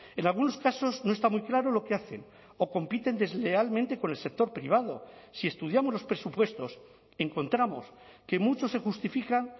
en algunos casos no está muy claro lo que hacen o compiten deslealmente con el sector privado si estudiamos los presupuestos encontramos que muchos se justifican